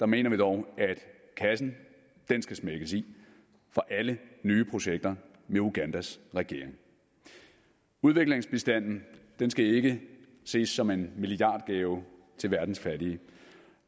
mener vi dog at kassen skal smækkes i for alle nye projekter med ugandas regering udviklingsbistanden skal ikke ses som en milliardgave til verdens fattige